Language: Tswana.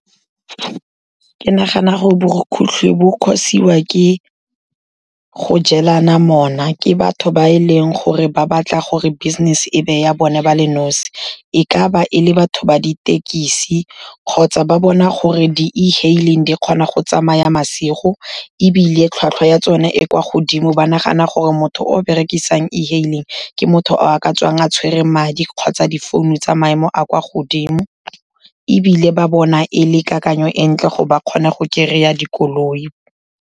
Ke nagana gore borukhutlhi bo cause-iwa ke go jelana mona ke batho ba e leng gore ba batla gore business-e e be ya bone ba le nosi. E ka ba e le batho ba ditekisi kgotsa ba bona gore di-e-hailing di kgona go tsamaya masigo ebile tlhwatlhwa ya tsone e kwa godimo, ba nagana gore motho o berekisang e-hailing, ke motho o a ka tswang a tshwere madi kgotsa difounu tsa maemo a kwa godimo, ebile ba bona e le kakanyo e ntle gore ba kgone go kry-a dikoloi.